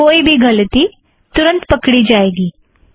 कोई भी गलती तुरंत पकड़ा जाएगा